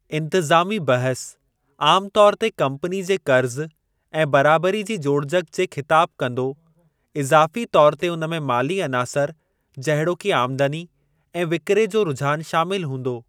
इंतिज़ामी बहसु आमु तौरु ते कम्पनी जे क़र्ज़ु ऐं बराबरी जी जोड़जकि जे ख़िताबु कंदो, इज़ाफ़ी तौरु ते उन में माली अनासर जहिड़ोकि आमदनी ऐं विकिरे जो रुझान शामिल हूंदो।